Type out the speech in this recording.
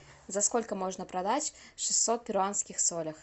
за сколько можно продать шестьсот перуанских солях